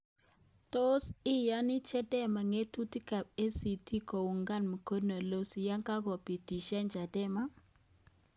Tos iyani Chadema ng'atutik ab ACT koungan mkono Lissu yekagopitisyan Chadema?